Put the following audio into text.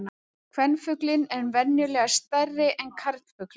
Kvenfuglinn er venjulega stærri en karlfuglinn.